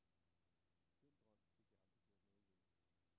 Den drøm fik jeg aldrig gjort noget ved.